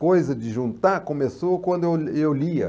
Coisa de juntar começou quando eu eu lia.